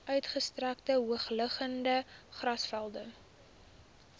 uitgestrekte hoogliggende grasvelde